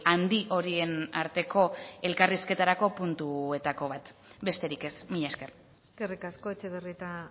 handi horien arteko elkarrizketarako puntuetako bat besterik ez mila esker eskerrik asko etxebarrieta